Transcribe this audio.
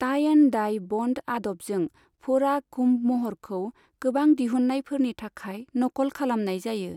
Tie and dye बंध आदबजों, फोड़ा कुंभ महरखौ गोबां दिहुननायफोरनि थाखाय नकल खालामनाय जायो।